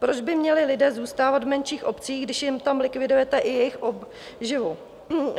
Proč by měli lidé zůstávat v menších obcích, když jim tam likvidujete i jejich obživu?